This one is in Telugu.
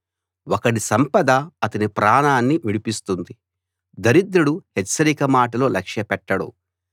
ఒకడి సంపద అతని ప్రాణాన్ని విడిపిస్తుంది దరిద్రుడు హెచ్చరిక మాటలు లక్ష్యపెట్టడు